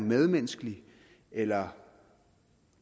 medmenneskelig eller